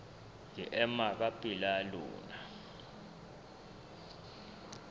ke ema ka pela lona